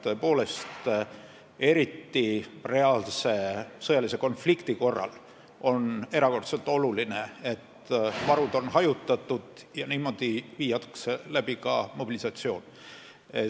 Tõepoolest, eriti reaalse sõjalise konflikti korral on erakordselt oluline, et varud on hajutatud ja niimoodi viiakse läbi ka mobilisatsioon.